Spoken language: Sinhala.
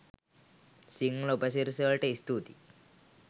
සිංහල උපසිරැසිවලට ස්තුතියි